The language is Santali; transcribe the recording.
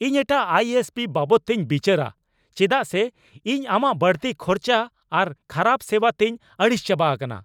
ᱤᱧ ᱮᱴᱟᱜ ᱟᱭ ᱮᱥ ᱯᱤ ᱵᱟᱵᱚᱫ ᱛᱤᱧ ᱵᱤᱪᱟᱹᱨᱟ ᱪᱮᱫᱟᱜ ᱥᱮ ᱤᱧ ᱟᱢᱟᱜ ᱵᱟᱹᱲᱛᱤ ᱠᱷᱚᱨᱪᱟ ᱟᱨ ᱠᱷᱟᱨᱟᱵ ᱥᱮᱵᱟ ᱛᱤᱧ ᱟᱹᱲᱤᱥ ᱪᱟᱵᱟ ᱟᱠᱟᱱᱟ ᱾